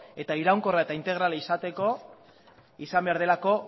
eta iraunkorra eta integrala izateko izan behar delako